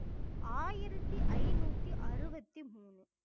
ஆயிரத்தி ஐநூத்தி அறுபத்தி மூணு